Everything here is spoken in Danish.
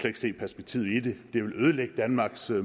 ikke se perspektivet i det det ville ødelægge danmarks